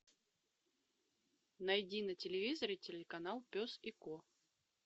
найди на телевизоре телеканал пес и ко